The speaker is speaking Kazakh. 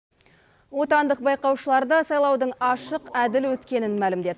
отандық байқаушылар да сайлаудың ашық әділ өткенін мәлімдеді